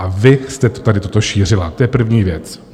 A vy jste tady toto šířila, to je první věc.